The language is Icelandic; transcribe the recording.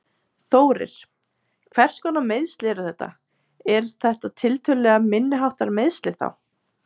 Þórir: Hvers konar meiðsl eru þetta, er þetta tiltölulega, minniháttar meiðsli þá?